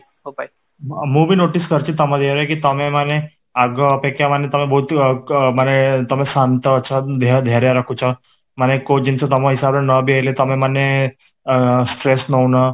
ମୁଁ ବି notice କରିଛି ତମ ଇଏ ରେ କି ତମେ ମାନେ ଆଗ ଅପେକ୍ଷା ମାନେ ତମେ ବହୁତ ମାନେ ତମେ ଶାନ୍ତ ଅଛ ଧର୍ଯ୍ୟ ରଖୁଛ ମାନେ କୋଉ ଜିନିଷ ତମ ଇଶାରା ରେ ନ ବି ହେଲେ ତମେ ମାନେ ଅଂ stress ନଉନ